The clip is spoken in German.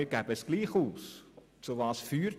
Ausgeben müssen wir es trotzdem.